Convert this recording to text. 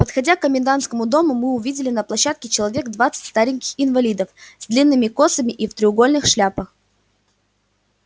подходя к комендантскому дому мы увидели на площадке человек двадцать стареньких инвалидов с длинными косами и в треугольных шляпах